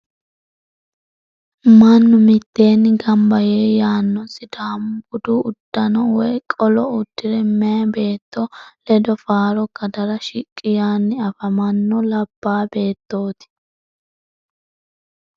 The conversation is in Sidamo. Mannu mitteenni gamba yee yaano sidaamu budu uddano woy qolo uddire meyaa beetto ledo faaro kadara shiqqi yaanni afamanno labbaa beettooti.